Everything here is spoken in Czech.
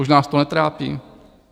Už nás to netrápí?